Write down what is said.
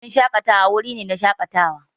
Wurin shaƙatawa wuri ne na shaƙatawa.